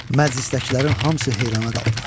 Məclisdəkilərin hamısı heyran qaldılar.